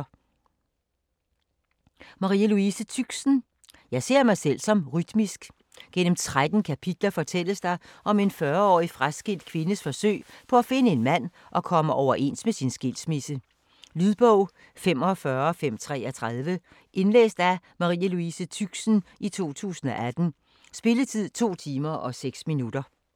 Tüxen, Marie Louise: Jeg ser mig selv som rytmisk Gennem 13 kapitler fortælles der om en 40-årig fraskilt kvindes forsøg på at finde en mand og komme overens med sin skilsmisse. Lydbog 45533 Indlæst af Marie Louise Tüxen, 2018. Spilletid: 2 timer, 6 minutter.